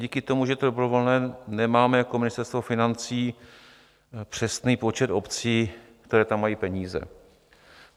Díky tomu, že je to dobrovolné, nemáme jako Ministerstvo financí přesný počet obcí, které tam mají peníze.